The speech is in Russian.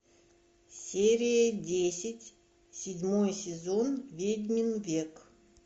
серия десять седьмой сезон ведьмин век